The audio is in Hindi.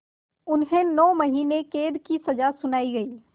उन्हें नौ महीने क़ैद की सज़ा सुनाई गई